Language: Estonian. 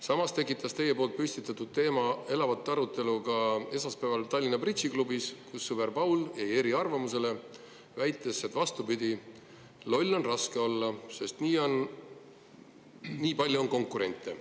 " Samuti tekitas teie püstitatud teema elavat arutelu esmaspäeval Tallinna bridžiklubis, kus sõber Paul jäi eriarvamusele, väites, et vastupidi, loll on raske olla, sest nii palju on konkurente.